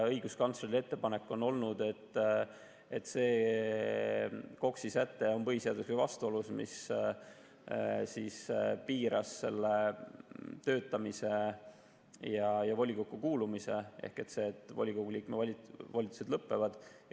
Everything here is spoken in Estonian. Õiguskantsleri ettepanek on olnud, et see KOKS‑i säte on põhiseadusega vastuolus, see, mis piiras töötamist ja volikokku kuulumist ehk see, et volikogu liikme volitused lõpevad.